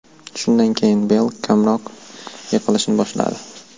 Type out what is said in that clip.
Shundan keyin Beyl kamroq yiqilishni boshladi.